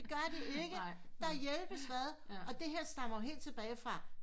Det gør de ikke der hjælpes vi ad og det her stammer jo helt tilbage fra